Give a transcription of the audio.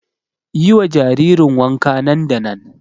Yi wa jaririn wanka nan da nan!